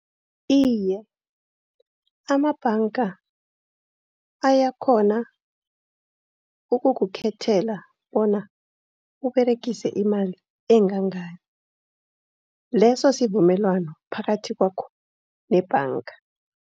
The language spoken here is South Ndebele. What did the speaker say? Iye amabhanga ayakghona ukukuthathela bona uberegise imali engangani. Leso sivumelwano phakathi kwakho nebhanga.